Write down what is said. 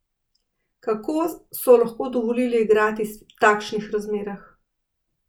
Kako so lahko dovolili igrati v takšnih razmerah?